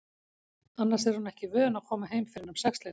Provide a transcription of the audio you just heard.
Annars er hún ekki vön að koma heim fyrr en um sexleytið.